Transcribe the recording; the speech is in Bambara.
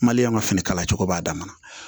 Maliyɛn ma fini kala cogo b'a damana